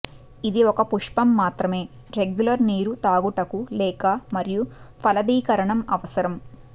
ఇది ఒక పుష్పం మాత్రమే రెగ్యులర్ నీరు త్రాగుటకు లేక మరియు ఫలదీకరణం అవసరం